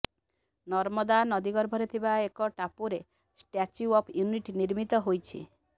ନର୍ମଦା ନଦୀ ଗର୍ଭରେ ଥିବା ଏକ ଟାପୁରେ ଷ୍ଟାଚ୍ୟୁ ଅଫ୍ ୟୁନିଟ ନିର୍ମିତ ହୋଇଛି